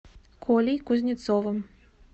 колей кузнецовым